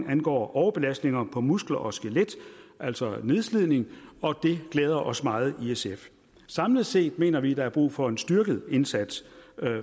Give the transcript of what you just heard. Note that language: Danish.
angår belastninger på muskler og skelet altså nedslidning og det glæder os meget i sf samlet set mener vi der er brug for en styrket indsats